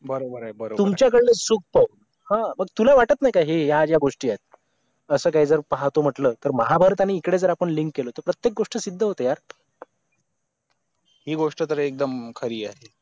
बरोबर आहे बरोबर तुमच्याकडेले चुकतंय हा मग तुला वाटत नाही का हे या ज्या गोष्टी आहेत असं काही जर पाहतो म्हटलं तर महाभारताने इकडं जर आपण link केलं तर प्रत्येक गोष्ट सिद्ध होते यार ही गोष्ट तर एकदम खरी आहे